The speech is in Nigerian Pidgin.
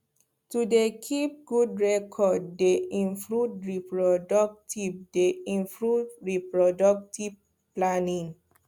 to dey keep good record dey improve reproductive dey improve reproductive planning